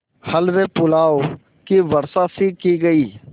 हलवेपुलाव की वर्षासी की गयी